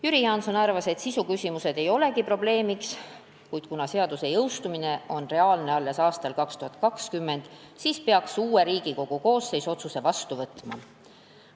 Jüri Jaanson arvas, et sisuküsimused ei olegi probleemiks, kuid kuna seaduse jõustumine on reaalne alles aastal 2020, siis peaks uue Riigikogu koosseis otsuse vastu võtma.